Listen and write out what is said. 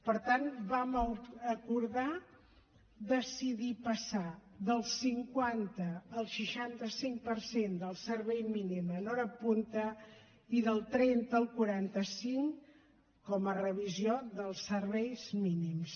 per tant vam acordar decidir passar del cinquanta al seixanta cinc per cent del servei mínim en hora punta i del trenta al quaranta cinc com a revisió dels serveis mínims